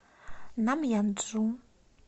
намъянджу